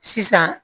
Sisan